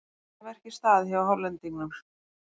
Vel að verki staðið hjá Hollendingnum.